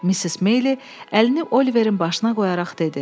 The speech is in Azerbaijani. Missis Meyli əlini Oliverin başına qoyaraq dedi: